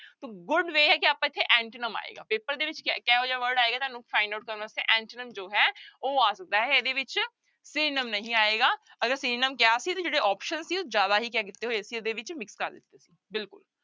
Good way ਹੈ ਕਿ ਆਪਾਂ ਇੱਥੇ antonym ਆਏਗਾ ਪੇਪਰ ਦੇ ਵਿੱਚ ਕ ਕਿਹੋ ਜਿਹਾ word ਆਏਗਾ ਤੁਹਾਨੂੰ find out ਕਰਨ ਵਾਸਤੇ antonym ਜੋ ਹੈ ਉਹ ਆ ਸਕਦਾ ਹੈ, ਇਹਦੇ ਵਿੱਚ synonym ਨਹੀਂ ਆਏਗਾ, ਅਗਰ synonym ਕਿਹਾ ਸੀ ਤੇ ਜਿਹੜੇ option ਸੀ ਉਹ ਜ਼ਿਆਦਾ ਹੀ ਕਿਆ ਕੀਤੇ ਹੋਏ ਸੀ ਇਹਦੇ ਵਿੱਚ mix ਕਰ ਦਿੱਤੇ ਸੀ ਬਿਲਕੁਲ।